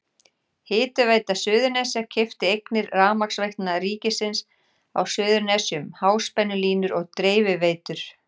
Hitaveita Suðurnesja keypti eignir Rafmagnsveitna ríkisins á Suðurnesjum, háspennulínur og dreifiveitur.